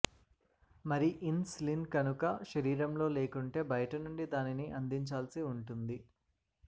మరి insulin కనుక శరీరంలో లేకుంటే బయటనుండి దానిని అందించాల్సివుంటుంది